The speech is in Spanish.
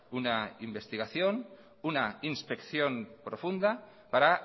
una investigación una inspección profunda para